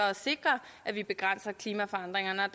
at sikre at vi begrænser klimaforandringerne